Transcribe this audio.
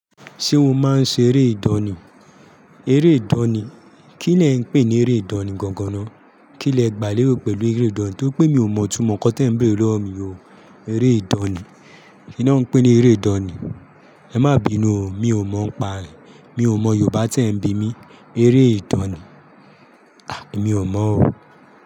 Ṣé o máa ń ṣe eré ìdọ̀ni? Eré ìdọ̀ni? Kí lẹ ń pè ní eré ìdọ̀ni gangan náà? Kí lẹ gbà léro pẹ̀lú eré ìdọ̀ni? Tóri pé mi ò mọ̀ itúmọ̀ nǹkan tí ẹ̀ ń béèrè lọ́wọ́ mi o. Eré ìdọ̀ni? Kí ni wọ́n ń pè ní eré ìdọ̀ni? Ẹ má bínú o, mi ò mọ̀ n pa re Mi ò mọ̀ Yorùbá tí ẹ̀ ń bi mi. Eré ìdọ̀ni? À, e mi ò mọ̀ o.